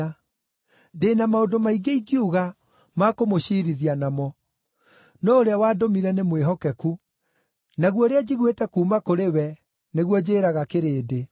Ndĩ na maũndũ maingĩ ingiuga ma kũmũciirithia namo. No ũrĩa wandũmire nĩ mwĩhokeku, naguo ũrĩa njiguĩte kuuma kũrĩ we nĩguo njĩĩraga kĩrĩndĩ.”